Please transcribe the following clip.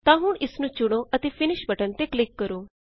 ਤਾਂ ਹੁਣ ਇਸਨੂੰ ਚੁਣੋ ਅਤੇ ਫਿਨਿਸ਼ ਬਟਨ ਤੇ ਕਲਿਕ ਕਰੋ